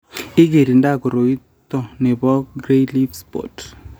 igirinda koroito ne bo grey leaf spot